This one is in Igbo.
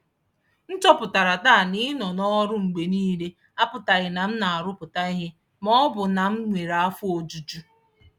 M chọpụtara taa na ịnọ n’ọrụ mgbe niile apụtaghị na m na-arụpụta ihe ma ọ bụ na m nwere afọ ojuju.